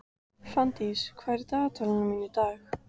Fanndís, hvað er á dagatalinu mínu í dag?